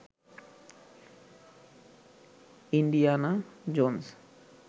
Indiana Jones